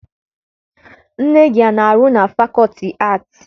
Nne gị ana-arụ na fakọlti aatị?